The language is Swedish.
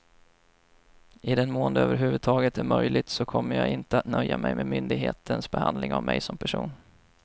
I den mån det över huvud taget är möjligt så kommer jag inte att nöja mig med myndigheternas behandling av mig som person.